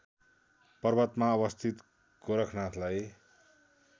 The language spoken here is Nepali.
पर्वतमा अवस्थित गोरखनाथलाई